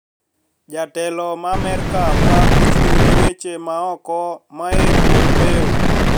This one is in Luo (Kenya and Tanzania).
Jatelo ma Amerka ma ochung` ne weche ma oko Mike Pompeo